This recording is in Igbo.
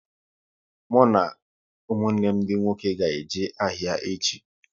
Mụ na ụmụnne m dị nwoke ga-eje ahịa echi